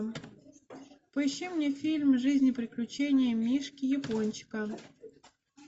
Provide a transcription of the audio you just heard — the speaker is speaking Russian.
поищи мне фильм жизнь и приключения мишки япончика